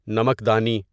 نمک دانی